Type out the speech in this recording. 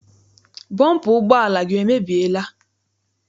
Bọmpa ụgbọala gị emebiela?